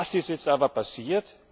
Was ist jetzt aber passiert?